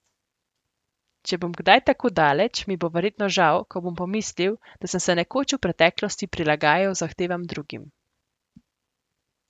Če bom kdaj tako daleč, mi bo verjetno žal, ko bom pomislil, da sem se nekoč v preteklosti prilagajal zahtevam drugim.